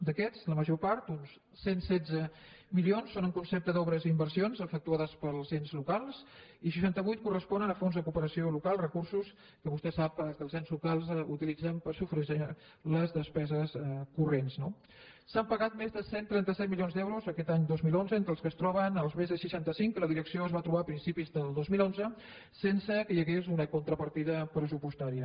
d’aquests la major part uns cent i setze milions són en concepte d’obres i inversions efectuades pels ens locals i seixanta vuit corresponen al fons de cooperació local recursos que vostè sap que els ens locals utilitzen per sufragar les despeses corrents no s’han pagat més de cent i trenta set milions d’euros aquest any dos mil onze entre els que es troben els més de seixanta cinc que la direcció es va trobar a principis del dos mil onze sense que hi hagués una contrapartida pressupostària